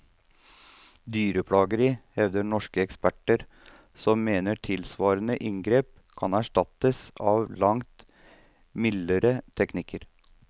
Dyreplageri, hevder norske eksperter som mener tilsvarende inngrep kan erstattes av langt mildere teknikker.